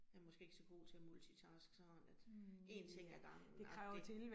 Jeg måske ikke så god til at multitaske sådan at én ting ad gangen agtig